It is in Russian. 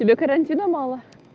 тебе карантина мало